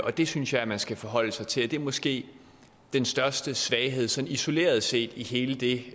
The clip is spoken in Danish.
det synes jeg man skal forholde sig til og det er måske den største svaghed sådan isoleret set i hele det